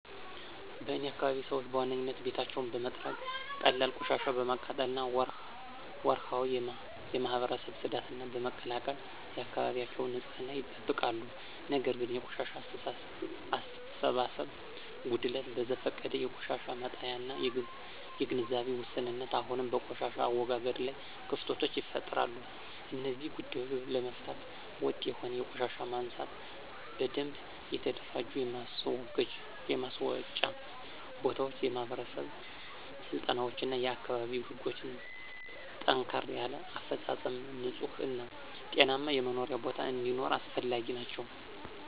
በእኔ አካባቢ ሰዎች በዋናነት ቤታቸውን በመጥረግ፣ ቀላል ቆሻሻ በማቃጠል እና ወርሃዊ የማህበረሰብ ጽዳትን በመቀላቀል የአካባቢያቸውን ንፅህና ይጠብቃሉ። ነገር ግን የቆሻሻ አሰባሰብ ጉድለት፣ በዘፈቀደ የቆሻሻ መጣያ እና የግንዛቤ ውስንነት አሁንም በቆሻሻ አወጋገድ ላይ ክፍተቶችን ይፈጥራሉ። እነዚህን ጉዳዮች ለመፍታት ወጥ የሆነ የቆሻሻ ማንሳት፣ በደንብ የተደራጁ የማስወጫ ቦታዎች፣ የማህበረሰብ ስልጠናዎች እና የአካባቢ ህጎችን ጠንከር ያለ አፈፃፀም ንፁህ እና ጤናማ የመኖሪያ ቦታ እንዲኖር አስፈላጊ ናቸው።